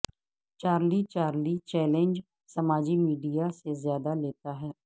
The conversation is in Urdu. چارلی چارلی چیلنج سماجی میڈیا سے زیادہ لیتا ہے